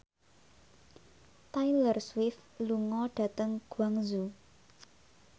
Taylor Swift lunga dhateng Guangzhou